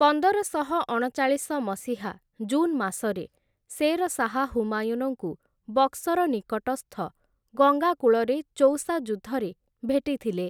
ପନ୍ଦରଶହ ଅଣଚାଳିଶ ମସିହା ଜୁନ୍‌ ମାସରେ ଶେର ଶାହ ହୁମାୟୁନଙ୍କୁ ବକ୍ସର ନିକଟସ୍ଥ ଗଙ୍ଗା କୂଳରେ ଚୌସା ଯୁଦ୍ଧରେ ଭେଟିଥିଲେ ।